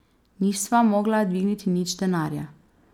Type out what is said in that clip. Nisva mogla dvigniti nič denarja.